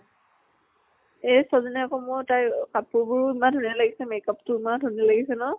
এই ছোৱালী জনী আকৌ মোৰ তাইৰ কাপোৰ বোৰো ইমান ধুনীয়া লাগিছে। makeup টো ইমান ধুনীয়া লাগিছে ন?